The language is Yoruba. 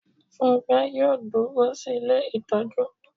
Fúnkẹ́ yóò dúró sí ilé ìtọ́jú